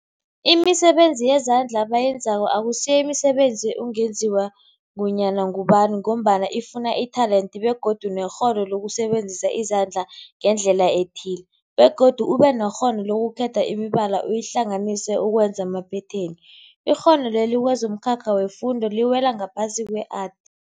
Imisebenzi yezandla abayenzako akusiyo imisebenzi ungenziwa ngunyana ngubani mgombana ifuna itelente begodu nekghono lokusebenzisa izandla ngendlela ethile, begodu ubenekghono lokukhetha imibala uyihlanganise ukwenza amaphetheni. Ikghono leli kwezomkhakha wefundo liwela ngaphasi kwe-Art.